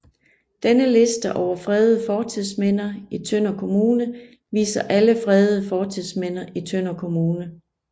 Denne liste over fredede fortidsminder i Tønder Kommune viser alle fredede fortidsminder i Tønder Kommune